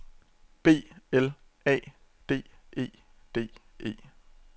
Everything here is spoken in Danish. B L A D E D E